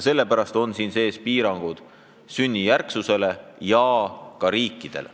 Sellepärast on eelnõus piirangud, mis nõuavad sünnijärgset kodakondsust ja välistavad teatud riigid.